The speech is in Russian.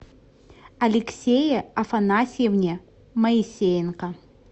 алексее афанасьевне моисеенко